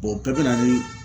o bɛɛ bɛ na ni